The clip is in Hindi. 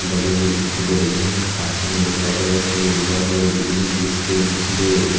लगे हुए दिखाई दे रही हैं पास ही में देखा जाय तो एक बहोत बड़ी बिल्डिंग भी ईसके निचले --